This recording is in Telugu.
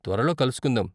త్వరలో కలుసుకుందాం!